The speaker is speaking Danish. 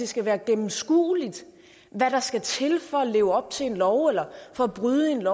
skal være gennemskueligt hvad der skal til for at leve op til en lov eller for at bryde en